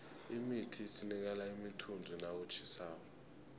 imithi isinikela imithunzi nakutjhisako